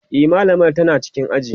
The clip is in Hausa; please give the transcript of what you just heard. e mallamar tana cikin aji